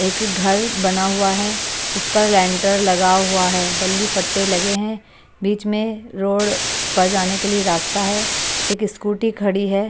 एक घर बना हुआ है उस पर लैंटर लगा हुआ है बल्ली फट्टे लगे हैं बीच में रोड पर जाने के लिए रास्ता है एक स्कूटी खड़ी है।